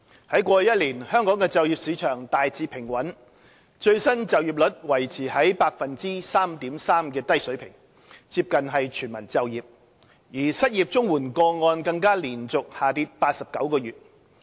在過去1年，香港的就業市場大致平穩，最新失業率維持在 3.3% 的低水平，接近全民就業，失業綜援個案更連續下跌89個月。